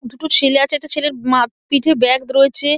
দুটো ছেলে আছে একটা ছেলের মা পিঠে ব্যাগ রয়েছে।